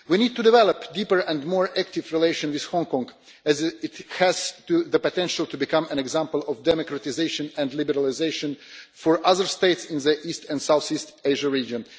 We need to develop deeper and more active relations with Hong Kong as it has the potential to become an example of democratisation and liberalisation for other states in the east and south east Asia region.